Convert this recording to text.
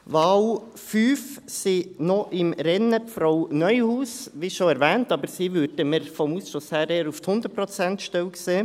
Für die Wahl 5 sind noch im Rennen: Frau Neuhaus, wie schon erwähnt, aber der Ausschuss sieht sie eher für die 100-Prozent-Stelle.